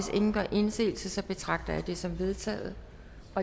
ingen gør indsigelse betragter jeg det som vedtaget